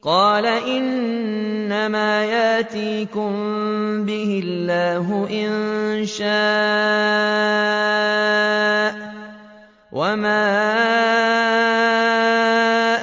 قَالَ إِنَّمَا يَأْتِيكُم بِهِ اللَّهُ إِن شَاءَ وَمَا